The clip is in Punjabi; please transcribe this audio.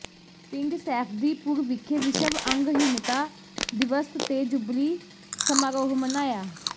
ਪਿੰਡ ਸੈਫਦੀਪੁਰ ਵਿਖੇ ਵਿਸ਼ਵ ਅੰਗਹੀਣਤਾ ਦਿਵਸ ਤੇ ਜੁਬਲੀ ਸਮਾਰੋਹ ਮਨਾਇਆ